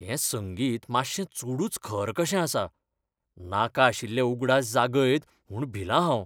हें संगीत मातशें चडूच खर कशें आसा, नाका आशिल्ले उगडास जागयत म्हूण भिलां हांव.